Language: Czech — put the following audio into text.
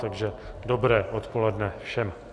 Takže dobré odpoledne všem.